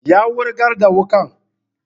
Ya wurgar da wuƙan